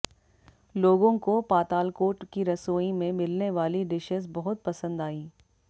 लोगों को पातालकोट की रसोईं में मिलने वाली डिशेस बहुत पसंद आईं